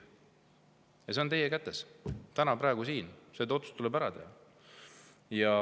See on teie kätes täna praegu siin, see otsus tuleb ära teha.